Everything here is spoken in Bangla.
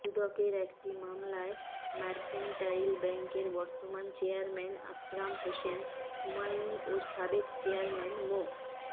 দুদকের একটি মামলায় মার্কেন্টাইল ব্যাংকের বর্তমান চেয়ারম্যান আকরাম হোসেন হুমায়ুন ও সাবেক চেয়ারম্যান মো